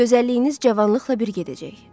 Gözəlliyiniz cavanlıqla bir gedəcək.